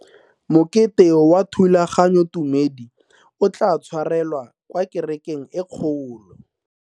Mokete wa thulaganyotumedi o tla tshwarelwa kwa kerekeng e kgolo.